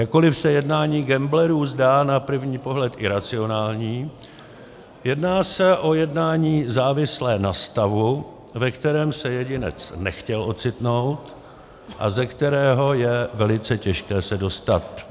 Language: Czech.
Jakkoli se jednání gamblerů zdá na první pohled iracionální, jedná se o jednání závislé na stavu, ve kterém se jedinec nechtěl ocitnout a ze kterého je velice těžké se dostat.